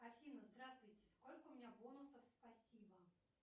афина здравствуйте сколько у меня бонусов спасибо